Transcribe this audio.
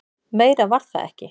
Meira var það ekki.